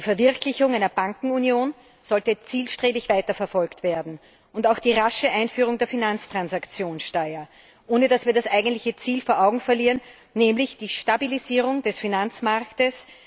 Die Verwirklichung einer Bankenunion sollte zielstrebig weiterverfolgt werden, ebenso wie die rasche Einführung der Finanztransaktionssteuer, ohne dass wir das eigentliche Ziel aus den Augen verlieren, nämlich die Stabilisierung des Finanzmarktes.